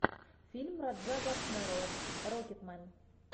фильм раджа госнелла рокетмен